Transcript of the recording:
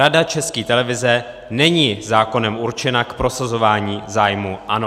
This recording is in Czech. Rada České televize není zákonem určena k prosazování zájmů ANO.